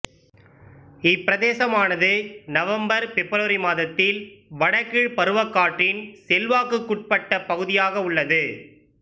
இப்பிரதேசமானது November February மாதத்தில் வட கீழ் பருவக்காற்றின் செல்வாக்குக்குட்பட்ட பகுதியாக உள்ளது